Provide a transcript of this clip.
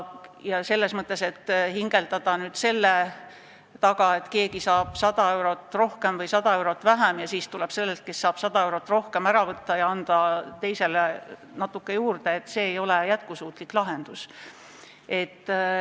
Hädaldada selle üle, et keegi saab 100 eurot rohkem või 100 eurot vähem pensionit, ja sellelt, kes saab 100 eurot rohkem, see ära võtta ja anda mõnele teisele natukene juurde – see ei ole jätkusuutlik lahendus.